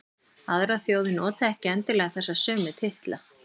Aðrar þjóðir nota ekki endilega þessa sömu titla.